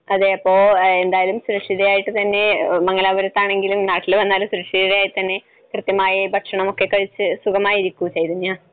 അതെ അപ്പൊ സുരക്ഷിതയായിട്ടുതന്നെ, മംഗലാപുരത്തായാലും നാട്ടിൽ വന്നാലും സുരക്ഷിതയായിത്തന്നെ കൃത്യമായി ഭക്ഷണമൊക്കെ കഴിച്ച് സുഖമായിരിക്കൂ ചൈതന്യ.